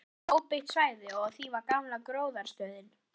Framundan var óbyggt svæði og á því var gamla gróðrarstöðin.